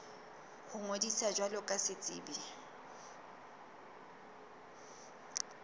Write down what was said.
ho ngodisa jwalo ka setsebi